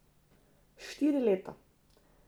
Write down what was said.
Štiri leta.